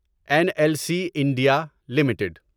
N L C India limited